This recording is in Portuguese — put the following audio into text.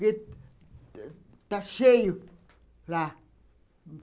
Porque está cheio lá.